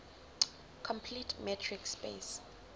complete metric space